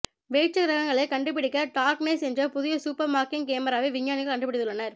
வேற்றுகிரகங்களைக் கண்டுபிடிக்க டார்க்நேஸ் என்ற புதிய சூப்பர்மார்க்கிங் கேமராவை விஞ்ஞானிகள் கண்டுபிடித்துள்ளனர்